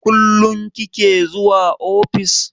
Kullum kike zuwa ofis?